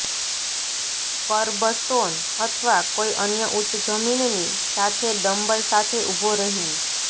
kerbstone અથવા કોઈ અન્ય ઉચ્ચ જમીનની સામે ડંબલ સાથે ઊભો રહેવું